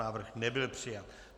Návrh nebyl přijat.